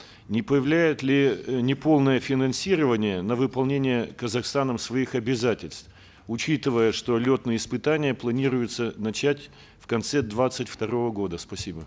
не повлияет ли неполное финансирование на выполнение казахстаном своих обязательств учитывая что летные испытания планируется начать в конце двадцать второго года спасибо